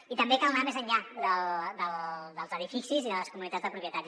i també cal anar més enllà dels edificis i de les comunitats de propietaris